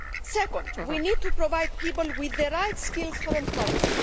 Secondly, we need to provide people with the right skills for employment.